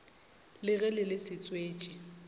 le ge le le setswetši